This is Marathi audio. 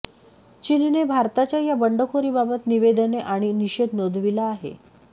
चीनने भारताच्या या बंडखोरीबाबत निवेदने आणि निषेध नोंदविला आहे